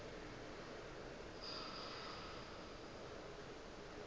wa gagwe o be o